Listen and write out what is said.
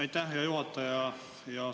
Aitäh, hea juhataja!